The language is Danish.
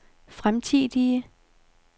fremtidige